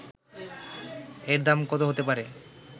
এর দাম কত হতে পারে